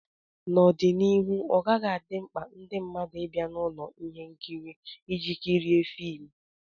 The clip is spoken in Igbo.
N'ọdịnihu, ọ ọgaghị adị mkpa ndị mmadụ bịa na ụlọ ihe nkiri iji kirie fim